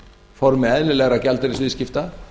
formi eðlilegra gjaldeyrisviðskipta